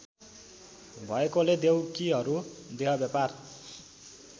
भएकोले देउकीहरू देहव्यापार